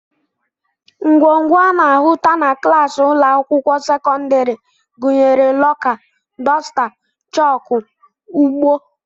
Ngwongwo a na-ahụta na klaasị ụlọakwụkwọ sekọndịrị gụnyere lọka, dosta, chọọkụ, ugbo